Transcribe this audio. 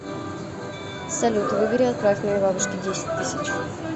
салют выбери и отправь моей бабушке десять тысяч